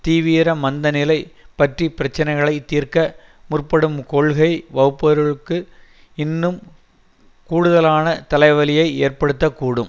தீவிர மந்த நிலை பற்றி பிரச்சினைகளை தீர்க்க முற்படும் கொள்கை வகுப்பவர்களுக்கு இன்னும் கூடுதலான தலைவலியை ஏற்படுத்த கூடும்